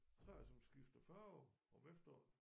¨Træer som skifter farve om efteråret